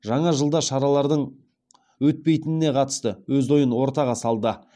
жаңа жылда шаралардың өтпейтініне қатысты өз ойын ортаға салды